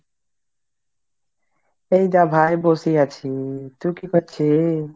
এই দে ভাই বসে আছি। তুই কি করছি ?